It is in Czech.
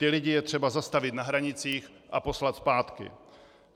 Ty lidi je třeba zastavit na hranicích a poslat zpátky.